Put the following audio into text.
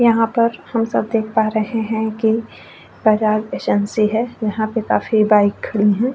यहाँ पर हम सब देख पा रहे है कि बजाज एजेंसी है यहाँ पर काफी बाइक खड़ी है ।